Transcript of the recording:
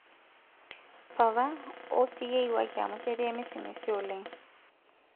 papa ouu siiyie iwaki amuu ketii emisimisi oleng'